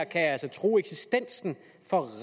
kan true eksistensen for